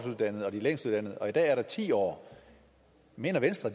uddannede og de længst uddannede og i dag er der ti år mener venstre